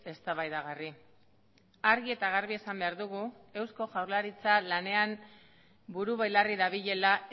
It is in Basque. eztabaidagarri argi eta garbi esan behar dugu eusko jaurlaritza lanean buru belarri dabilela